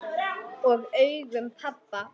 Og augum pabba.